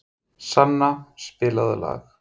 Sanna, spilaðu lag.